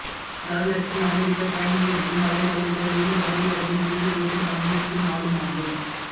தனலட்சுமி அமெரிக்க பயணிக்கயிருக்கும் அதே நாளில் தான் வேலு கபடியாட்டத்தின் இறுதிப்போட்டியில் பங்கேற்கும் நாளுமாகும்